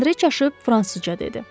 Andre çaşıb fransızca dedi.